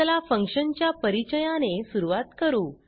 चला फंक्शन च्या परिचयाने सुरवात करू